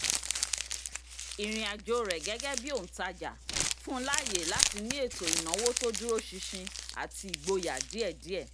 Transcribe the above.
ìrìnàjò rẹ̀ gẹ́gẹ́ bí òǹtajà fún láyè láti ní ètò ìnáwó tó dúró sinsin àti ìgboyà díẹ̀díẹ̀